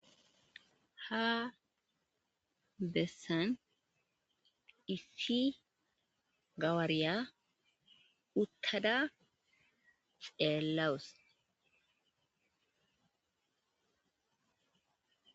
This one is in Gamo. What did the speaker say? ha bessan issi gawaariya uttada xeellawus